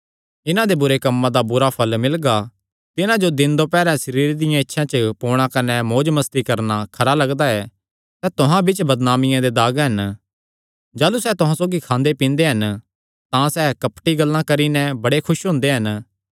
इन्हां दे बुरे कम्मां दा बुरा फल़ मिलगा तिन्हां जो दिन दोपैर सरीरे दियां इच्छां च पोणा कने मौजमस्ती करणा खरा लगदा ऐ सैह़ तुहां बिच्च बदनामिया दे दाग हन जाह़लू सैह़ तुहां सौगी खांदे पींदे हन तां सैह़ कपटी गल्लां करी नैं बड़े खुस हुंदे हन